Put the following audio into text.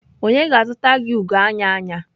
Onye ga-azụta gị ugo anya anya.